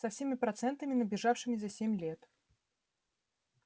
со всеми процентами набежавшими за семь лет